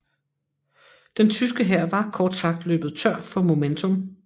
Den tyske hær var kort sagt løbet tør for momentum